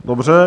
Dobře.